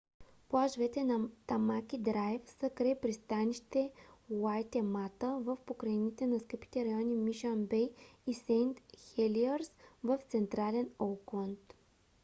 плажовете на тамаки драйв са край пристанище уайтемата в покрайнините на скъпите райони мишън бей и сейнт хелиърс в централен оукланд